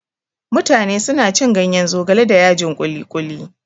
Mutane suna cin ganyen zogale da yajin kuli-kuli.